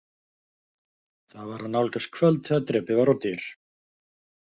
Það var að nálgast kvöld þegar drepið var á dyr.